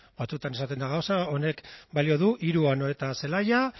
batzuetan esaten da gauza honek balio du hiru anoeta zelaia